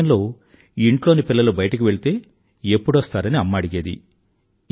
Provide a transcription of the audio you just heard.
ఒక సమయంలో ఇంట్లోని పిల్లలు బయటకు వెళ్తే ఎప్పుడొస్తారని అమ్మ అడిగేది